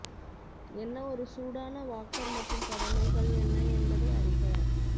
என்ன ஒரு சூடான வாக்கர் மற்றும் கடமைகள் என்ன என்பதை அறிக